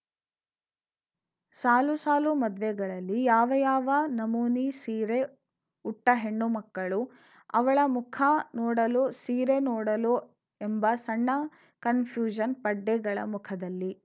ಸಾಲು ಸಾಲು ಮದ್ವೆಗಳಲ್ಲಿ ಯಾವಯಾವ ನಮೂನಿ ಸೀರೆ ಉಟ್ಟಹೆಣ್ಣು ಮಕ್ಕಳು ಅವಳ ಮುಖ ನೋಡಲೋ ಸೀರೆ ನೋಡಲೋ ಎಂಬ ಸಣ್ಣ ಕನ್‌ಫ್ಯೂಶನ್‌ ಪಡ್ಡೆಗಳ ಮುಖದಲ್ಲಿ